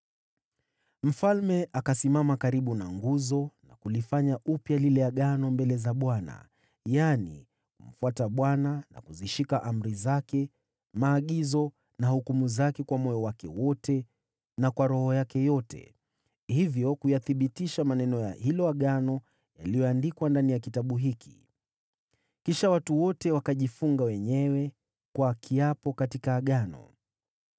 Mfalme akasimama karibu na nguzo, na kufanya upya agano mbele za Bwana : yaani kumfuata Bwana na kuzishika amri zake, maagizo na sheria kwa moyo wake wote na kwa roho yake yote, hivyo kuyathibitisha maneno ya agano yaliyoandikwa katika kitabu hiki. Kisha watu wote wakajifunga wenyewe kwa kiapo katika agano.